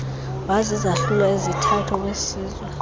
wazizahlulo ezithathu owesizwe